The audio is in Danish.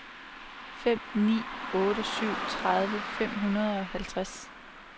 fem ni otte syv tredive fem hundrede og halvtreds